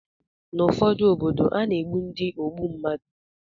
Ná obodo ụfọdụ, a na-egbu ndị ogbu mmadụ